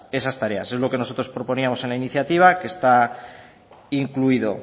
esas tareas es lo que nosotros proponíamos en la iniciativa que está incluido